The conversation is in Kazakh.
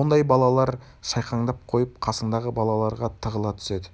ондай балалар шайқаңдап қойып қасындағы балаларға тығыла түседі